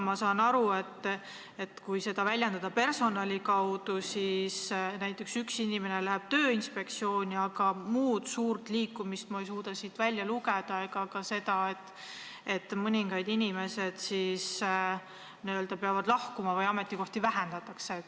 Ma saan aga aru, et kui selle eelnõu sisu väljendada personali kaudu, siis üks inimene läheb Tööinspektsiooni, kuid ma ei suuda siit välja lugeda muud suurt liikumist ega ka seda, et mõningad inimesed peaksid lahkuma või ametikohti vähendataks.